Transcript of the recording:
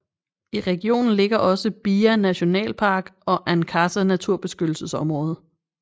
I regionen ligger også Bia National Park og Ankasa naturbeskyttelsesområde